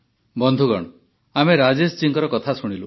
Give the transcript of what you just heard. ବନ୍ଧୁଗଣ ଆମେ ରାଜେଶ ଜୀଙ୍କ କଥା ଶୁଣିଲୁ